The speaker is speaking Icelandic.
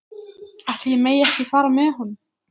Ætli ég megi ekki fara með honum?